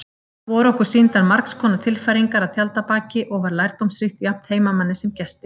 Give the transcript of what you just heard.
Voru okkur sýndar margskonar tilfæringar að tjaldabaki og var lærdómsríkt jafnt heimamanni sem gesti.